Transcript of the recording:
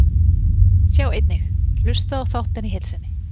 Sjá einnig: Hlustaðu á þáttinn í heild sinni